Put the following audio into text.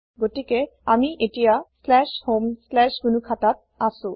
গতিকে আমি এতিয়া homegnukhataত আছো